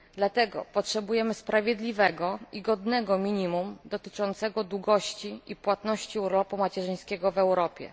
Dlatego potrzebujemy sprawiedliwego i godnego minimum dotyczącego długości i płatności urlopu macierzyńskiego w Europie.